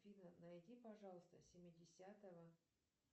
афина найди пожалуйста семидесятого